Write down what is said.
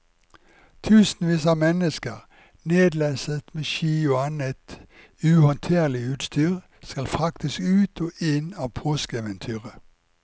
Tusenvis av mennesker, nedlesset med ski og annet uhåndterlig utstyr, skal fraktes ut og inn av påskeeventyret.